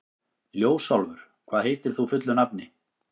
Ljósálfur, hvað heitir þú fullu nafni?